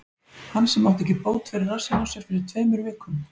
Hann sem átti ekki bót fyrir rassinn á sér fyrir tveimur vikum?